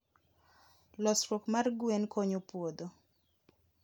losruok mar gwen konyo puodho.